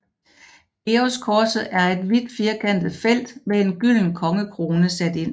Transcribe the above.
Georgskorset er et hvid firkantet felt med en gylden kongekrone sat ind